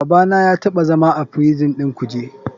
Babana ya taɓa zama a prison ɗin kuje.